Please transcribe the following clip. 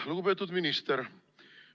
Lugupeetud minister!